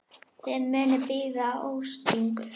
Þið munuð bíða ósigur.